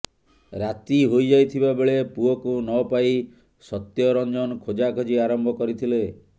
ରାତି ହୋଇଯାଇଥିବା ବେଳେ ପୁଅକୁ ନ ପାଇ ସତ୍ୟରଞ୍ଜନ ଖୋଜାଖୋଜି ଆରମ୍ଭ କରିଥିଲେ